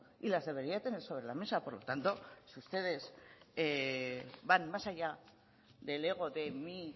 y las debería tener sobre la mesa por lo tanto si ustedes van más allá del ego de mi